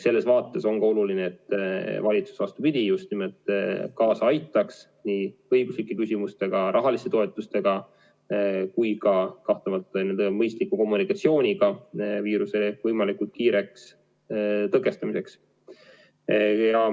Selles vaates ongi oluline, et valitsus just nimelt aitaks kaasa nii õiguslike muudatustega, rahaliste toetustega kui ka kahtlemata mõistliku kommunikatsiooniga viiruse võimalikult kiireks tõkestamiseks.